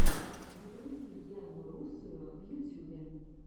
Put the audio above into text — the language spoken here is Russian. загрузи яну русую в ютьюбе